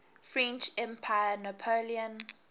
french emperor napoleon